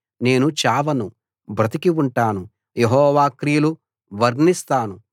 నేను చావను బ్రతికి ఉంటాను యెహోవా క్రియలు వర్ణిస్తాను